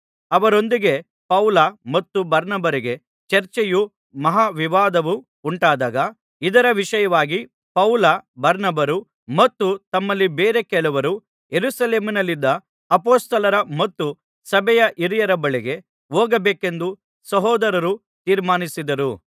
ಅವರೊಂದಿಗೆ ಪೌಲ ಮತ್ತು ಬಾರ್ನಬರಿಗೆ ಚರ್ಚೆಯೂ ಮಹಾ ವಿವಾದವೂ ಉಂಟಾದಾಗ ಇದರ ವಿಷಯವಾಗಿ ಪೌಲ ಬಾರ್ನಬರು ಮತ್ತು ತಮ್ಮಲ್ಲಿ ಬೇರೆ ಕೆಲವರು ಯೆರೂಸಲೇಮಿನಲ್ಲಿದ್ದ ಅಪೊಸ್ತಲರ ಮತ್ತು ಸಭೆಯ ಹಿರಿಯರ ಬಳಿಗೆ ಹೋಗಬೇಕೆಂದು ಸಹೋದರರು ತೀರ್ಮಾನಿಸಿದರು